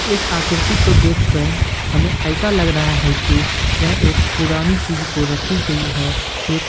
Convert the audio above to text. इस आकृति को देखकर हमें ऐसा लग रहा है कि यह एक पुरानी चीज को रखी गई है एक--